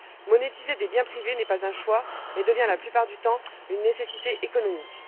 Monétiser des biens privés n'est pas un choix, mais devient la plupart du temps une nécessité économique.